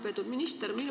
Lugupeetud minister!